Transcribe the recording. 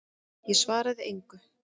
Ég svaraði engu.